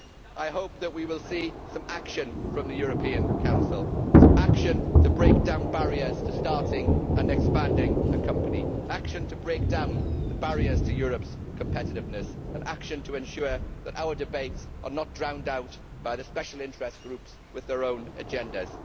I hope we will see some action from the European Council this week action to break down barriers to starting and expanding a company, action to break down the barriers to Europe's competitiveness, and action to ensure that our debates are not drowned out by the special interest groups with their own agendas.